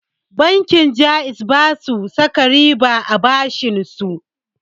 Bankin ja'iz basu saka riba a bashinsu